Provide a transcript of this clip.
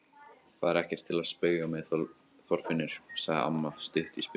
Það er ekki til að spauga með, Þorfinnur! sagði amma stutt í spuna.